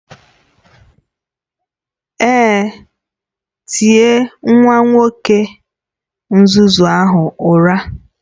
Èé, tie nwa nwoke nzuzu ahụ ụra